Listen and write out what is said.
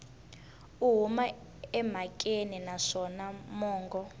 u huma emhakeni naswona mongo